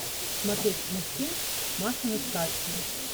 смотреть мультфильм машины сказки